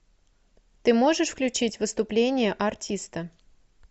ты можешь включить выступление артиста